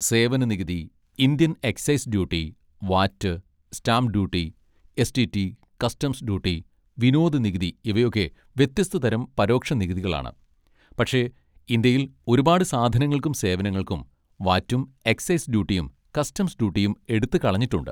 സേവന നികുതി, Indian excise duty, VAT, stamp duty, S. T. T, customs duty, വിനോദ നികുതി, ഇവയൊക്കെ വ്യത്യസ്തതരം പരോക്ഷ നികുതികളാണ്, പക്ഷെ ഇന്ത്യയിൽ ഒരുപാട് സാധനങ്ങൾക്കും സേവനങ്ങൾക്കും വാറ്റും എക്സൈസ് ഡ്യൂട്ടിയും കസ്റ്റംസ് ഡ്യൂട്ടിയും എടുത്തുകളഞ്ഞിട്ടുണ്ട്.